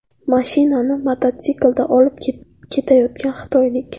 Mashinani mototsiklda olib ketayotgan xitoylik.